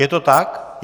Je to tak?